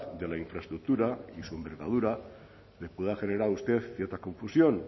de la infraestructura y su envergadura le pueda generar a usted cierta confusión